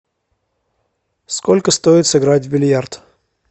сколько стоит сыграть в бильярд